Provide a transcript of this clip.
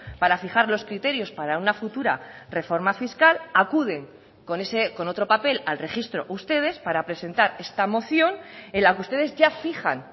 para fijar los criterios para una futura reforma fiscal acuden con otro papel al registro ustedes para presentar esta moción en la que ustedes ya fijan